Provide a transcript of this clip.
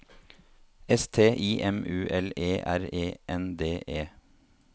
S T I M U L E R E N D E